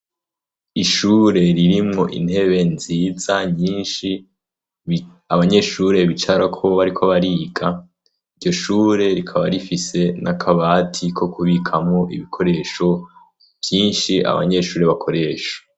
Ishure ririmwo intebe nziza nyinshi abanyeshure bicarako bariko bariga, iryoshure rikaba rifise n' akabati ko kubikamwo ibikoresho vyinshi abanyeshure bakoresha.